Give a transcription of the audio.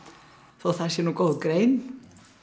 þó það sé nú góð grein